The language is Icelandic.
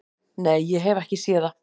"""Nei, ég hef ekki séð það."""